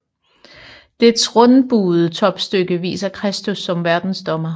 Dets rundbuede topstykke viser Kristus som Verdensdommer